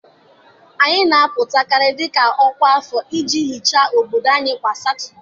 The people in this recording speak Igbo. anyị na-apụtakarị dị ka ọkwa afọ iji hichaa obodo ahụ kwa Satọde.